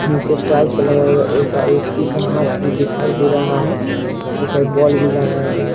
नीचे एक टाइल्स पे भी लगा हुआ है एक आ व्यक्ति का हाथ भी दिखाई दे रहा है दो-चार बॉल भी लगाया गया --